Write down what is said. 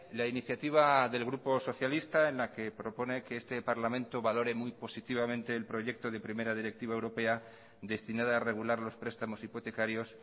la iniciativa del grupo socialista en la que propone que este parlamento valore muy positivamente el proyecto de primera directiva europea destinada a regular los prestamos hipotecarios